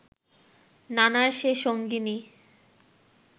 নানার সে সঙ্গিনী